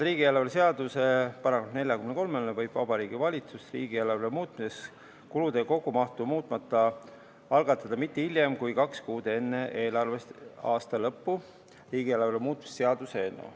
Riigieelarve seaduse § 43 kohaselt võib Vabariigi Valitsus riigieelarve muutmiseks vahendite kogumahtu muutmata algatada hiljemalt kaks kuud enne eelarveaasta lõppu riigieelarve muutmise seaduse eelnõu.